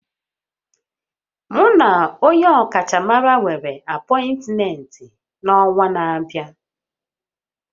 Mu na onye ọkachamara nwere apọịntmentị n'ọnwa na-abịa